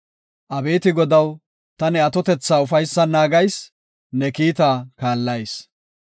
Abeeti Godaw, ta ne atotetha ufaysan naagayis; ne kiita kaallayis.